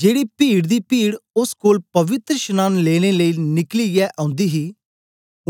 जेड़ी पीड दी पीड ओस कोल पवित्रशनांन लेने लेई निकलियै औन्दी ही